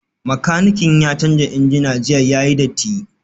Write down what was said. Makanikin ya canza injina jiya yayi datti